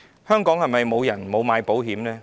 香港是否沒有人購買保險呢？